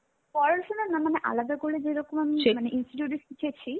পড়াশুনো না মানে আলাদা করে যেরকম আমি মানে institute এ শিখেছি.